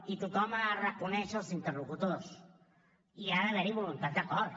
i tothom ha de reconèixer els interlocutors i hi ha d’haver voluntat d’acord